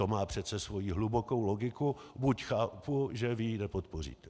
To má přece svoji hlubokou logiku, byť chápu, že vy ji nepodpoříte.